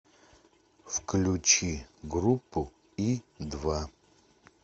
включи группу и два